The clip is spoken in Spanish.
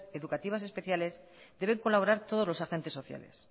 educativas especiales deben colaborar todos los agentes sociales